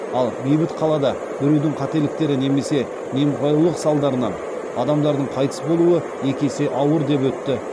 ал бейбіт қалада біреудің қателіктері немесе немқұрайдылық салдарынан адамдардың қайтыс болуы екі есе ауыр деп өтті